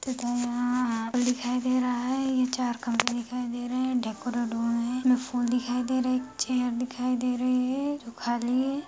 तथा यहाँ कुछ दिखाई दे रहा है ये चार खम्भे दिखाई दे रहे है डेकोरेट हो रहे है इमें फुल दिखाई दे रहे हेएक चेयर दिखाई दे रही हैं जो खली हैं।